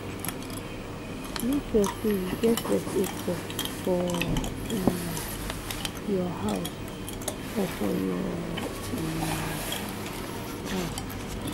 Make sure say you get first aid box for um your house or for your um car